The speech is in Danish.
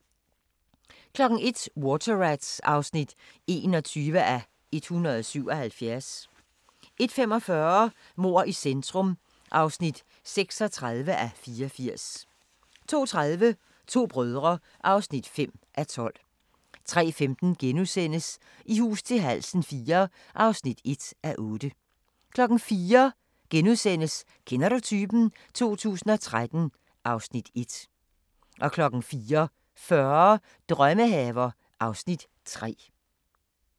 01:00: Water Rats (21:177) 01:45: Mord i centrum (36:84) 02:30: To brødre (5:12) 03:15: I hus til halsen IV (1:8)* 04:00: Kender du typen? 2013 (Afs. 1)* 04:40: Drømmehaver (Afs. 3)